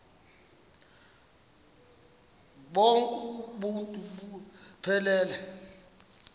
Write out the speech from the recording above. bonk uuntu buphelele